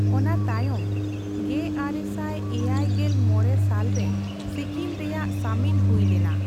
ᱚᱱᱟ ᱛᱟᱭᱚᱢ ᱑᱙᱗᱕ ᱜᱮ ᱟᱨᱮᱥᱟᱭ ᱮᱭᱟᱭ ᱜᱮᱞ ᱢᱚᱲᱮ ᱥᱟᱞ ᱨᱮ ᱥᱤᱠᱤᱢ ᱨᱮᱭᱟᱜ ᱥᱟᱹᱢᱤᱞ ᱦᱩᱭ ᱞᱮᱱᱟ ᱾